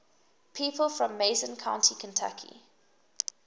people from mason county kentucky